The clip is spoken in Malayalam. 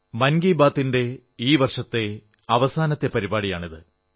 മൻ കീ ബാത്തിന്റെ ഈ വർഷത്തെ അവസാനത്തെ പരിപാടിയാണിത്